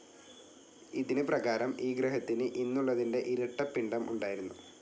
ഇതിന് പ്രകാരം ഈ ഗ്രഹത്തിന് ഇന്നുള്ളതിൻ്റെ ഇരട്ട പിണ്ഡം ഉണ്ടായിരുന്നു.